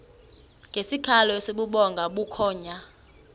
ngesikhalo esibubhonga bukhonya